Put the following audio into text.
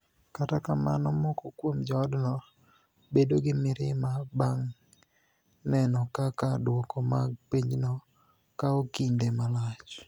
Kata kamano, moko kuom joodno bedo gi mirima banig' ni eno kaka dwoko mag penijono kawo kinide malach.